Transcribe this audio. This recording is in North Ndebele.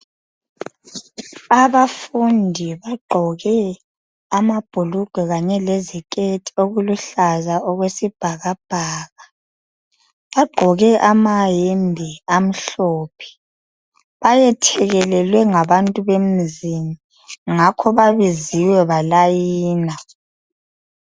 Abafundi bagqoke amabhulugwe kanye leziketi okuluhlaza okwesibhakabhaka. Bagqoke lamayembe amhlophe. Bayethekelelwe ngabantu bemzini. Ngakho babiziwe, balayina.